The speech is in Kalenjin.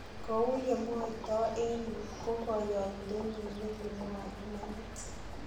Kou yemwotoo en yuu ko koyoindenyin negimwoi imaniit.